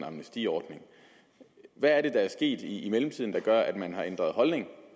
amnestiordning hvad er det der er sket i mellemtiden der gør at man har ændret holdning